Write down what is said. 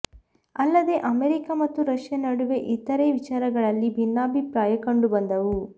ಅಲ್ಲದೆ ಅಮೆರಿಕ ಮತ್ತು ರಷ್ಯಾ ನಡುವೆ ಇತರೆ ವಿಚಾರಗಳಲ್ಲಿ ಭಿನ್ನಾಭಿಪ್ರಾಯ ಕಂಡುಬಂದವು